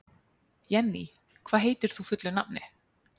Jenný, hvað heitir þú fullu nafni?